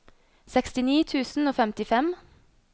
sekstini tusen og femtifem